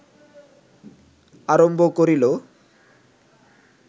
আরম্ভ করিল